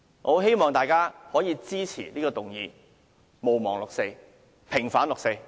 我希望大家支持這項議案：毋忘六四，平反六四。